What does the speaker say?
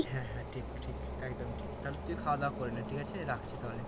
হ্যাঁ হ্যাঁ ঠিক ঠিক একদম ঠিক তাহলে তুই খাওয়া দাওয়া করে নে ঠিক আছে রাখছি তাহলে